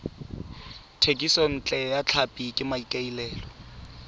thekisontle ya tlhapi ka maikaelelo